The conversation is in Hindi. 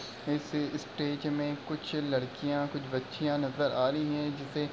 इस स्टेज में कुछ लड़कियाँ कुछ बच्चियाँ नज़र आ रही हैं। जिसे --